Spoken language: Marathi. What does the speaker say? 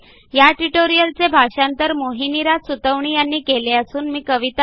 ह्या ट्युटोरियलचे मराठी भाषांतर मोहिनीराज सुतवणी यांनी केलेले असून आवाज